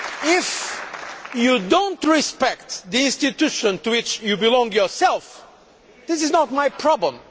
If you do not respect the institution to which you belong yourself, this is not my problem.